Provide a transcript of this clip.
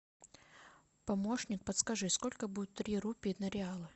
помощник подскажи сколько будет три рупий на реалы